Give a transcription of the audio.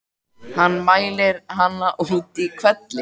Hann mælir hana út í hvelli.